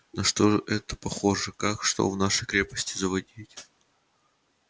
на что это похоже как что в нашей крепости заводить